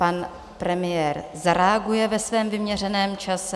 Pan premiér zareaguje ve svém vyměřeném čase.